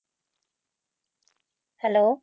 Hello